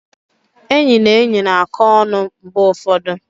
Enyi na enyi na-akọ ọnụ mgbe ụfọdụ.